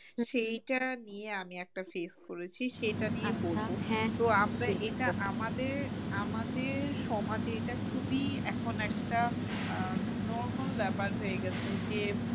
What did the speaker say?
সেইটা নিয়ে আমি একটা face করেছি সেটা নিয়ে বলবো আমাদের সমাজে এটা খুবই এখন একটা আহ normal ব্যাপার হয়ে গেছে যে